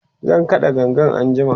zan kaɗa gangan anjima